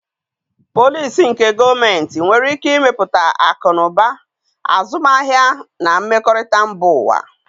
Polisi nke gọọmentị nwere ike imetụta akụ na ụba, azụmahịa, na mmekọrịta mba ụwa.